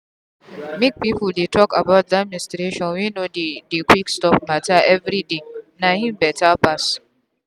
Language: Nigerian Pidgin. make people dey talk about that menstruation no dey dey quick stop matter everydayna him better pass.